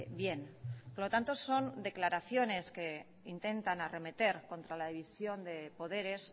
bien por lo tanto son declaraciones que intentan arremeter contra la división de poderes